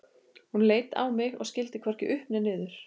Hún leit á mig og skildi hvorki upp né niður.